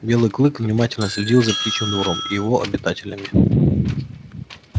белый клык внимательно следил за птичьим двором и его обитателями